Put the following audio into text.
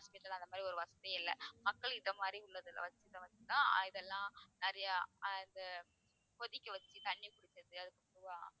hospital அந்த மாதிரி ஒரு வசதியே இல்லை மக்கள் இந்த மாதிரி உள்ளதெல்லாம் வெச்சுதான் இதெல்லாம் நிறைய அஹ் அந்த கொதிக்க வச்சு தண்ணி குடிக்கிறது